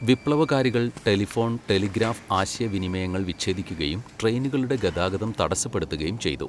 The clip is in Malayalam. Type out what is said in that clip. വിപ്ലവകാരികൾ ടെലിഫോൺ, ടെലിഗ്രാഫ് ആശയവിനിമയങ്ങൾ വിച്ഛേദിക്കുകയും ട്രെയിനുകളുടെ ഗതാഗതം തടസ്സപ്പെടുത്തുകയും ചെയ്തു.